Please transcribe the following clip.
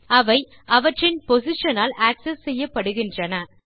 அவை அவற்றின் பொசிஷன் ஆல் ஆக்செஸ் செய்யப்படுகின்றன